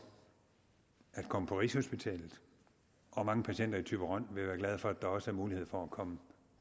at komme på rigshospitalet og at mange patienter i thyborøn vil være glade for at der også er mulighed for at komme